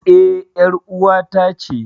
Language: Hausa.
E, ƴar ƴar'uwata ce.